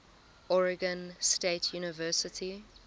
oregon state university